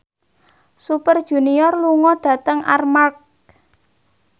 Super Junior lunga dhateng Armargh